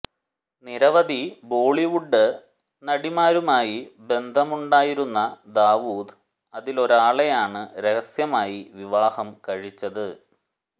നിരവധി ബോളീവുഡ് നടിമാരുമായി ബന്ധമുണ്ടായിരുന്ന ദാവൂദ് അതിലൊരാളെയാണ് രഹസ്യമായി വിവാഹം കഴിച്ചത്